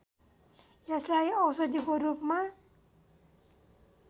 यसलाई औषधिको रूपमा